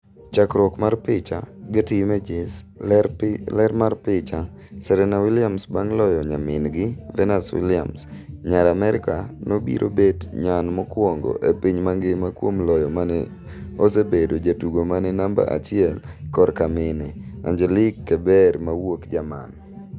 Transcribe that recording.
Chakruok mar picha, Getty Images, ler mar picha: Serena Williams bang' loyo nyamin gi Venus Williams, nyar Amerka no obiro bet nyan mokwongo e piny mangima kuom loyo mane osebedo jatugo mane namba achiel kor ka mine, Angelque Kebber mawuok Jerman.